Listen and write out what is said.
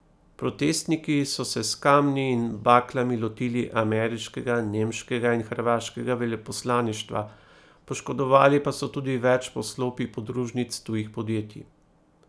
Protestniki so se z kamni in baklami lotili ameriškega, nemškega in hrvaškega veleposlaništva, poškodovali pa so tudi več poslopij podružnic tujih podjetij.